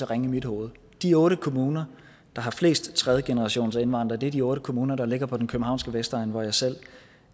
ringe i mit hoved de otte kommuner der har flest tredjegenerationsindvandrere er de otte kommuner der ligger på den københavnske vestegn hvor jeg selv